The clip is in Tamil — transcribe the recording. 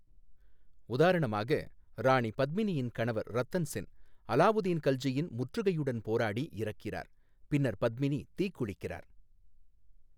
உதாரணமாக, ராணி பத்மினியின் கணவர் ரத்தன் சென் அலாவுதீன் கல்ஜியின் முற்றுகையுடன் போராடி இறக்கிறார் பின்னர் பத்மினி தீக்குளிக்கிறார்.